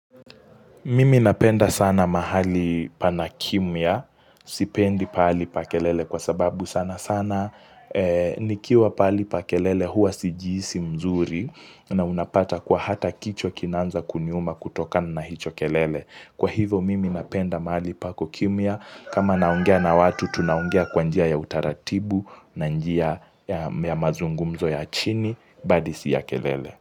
Mimi napenda sana mahali pana kimya, sipendi pahali pa kelele kwa sababu sana sana, nikiwa pahali pa kelele huwa sijihisi mzuri, na unapata kwa hata kichwa kinanza kiniuuma kutokana na hicho kelele. Kwa hivyo, mimi napenda mahali pako kimwa, kama naongea na watu, tunaongea kwa njia ya utaratibu, na njia ya mazungumzo ya chini, bali si ya kelele.